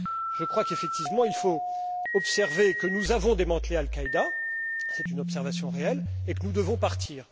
Je crois qu'effectivement, il faut reconnaître que nous avons démantelé Al Qaïda c'est une observation réelle et que nous devons partir.